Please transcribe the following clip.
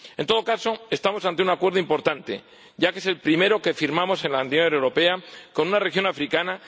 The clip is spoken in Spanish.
En todo caso, estamos ante un acuerdo importante, ya que es el primero que firmamos en la Unión Europea con una región africana.